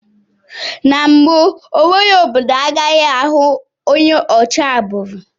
N'mbu enweghị obodo agaghị ahụ onye ochi agbụrụ